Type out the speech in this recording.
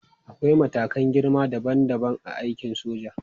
Akwai matakan girma dabam dabam a aikin soja.